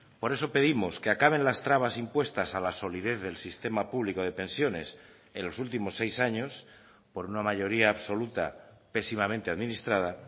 por eso pedimos que acaben las trabas impuestas a la solidez del sistema público de pensiones en los últimos seis años por una mayoría absoluta pésimamente administrada